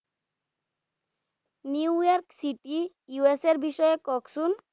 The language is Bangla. NewYork city USA এর বিষয়ে কহূন